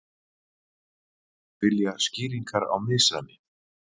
Vilja skýringar á misræmi